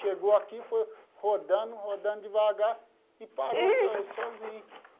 Chegou aqui, foi rodando, rodando devagar e parou so sozinho.